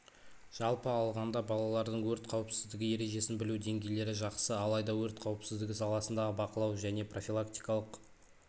жалпы алғанда балалардың өрт қауіпсіздігі ережесін білу деңгейлері жақсы алайда өрт қауіпсіздігі саласындағы бақылау және профилактикалық